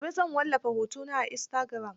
Gobe zan wallafa hotona a istagiram.